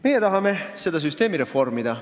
Meie tahame seda süsteemi reformida.